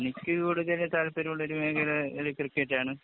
എനിക്ക് കൂടുതല് താല്പര്യമുള്ള ഒരു മേഖല കളി ക്രിക്കറ്റാണ്.